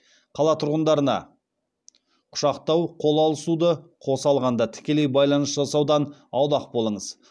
қала тұрғындарына құшақтау қол алысуды қоса алғанда тікелей байланыс жасаудан аулақ болыңыз